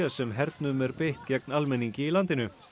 sem hernum er beitt gegn almenningi í landinu